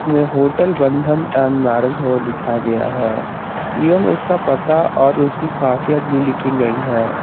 में hotel Bandhan and marriage hall लिखा गया है एवंम उसका पता और उसकी खासियत भी लिखी गई है।